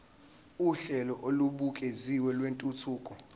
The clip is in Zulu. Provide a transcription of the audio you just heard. uhlelo olubukeziwe lwentuthuko